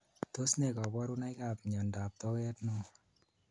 Tos ne kabarunoik ab mnyendo ab toket neo?